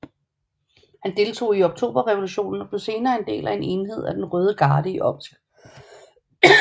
Han deltog i Oktoberrevolutionen og blev senere en del af en enhed af den røde garde i Omsk